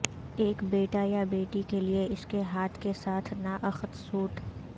ایک بیٹا یا بیٹی کے لئے اس کے ہاتھ کے ساتھ نااخت سوٹ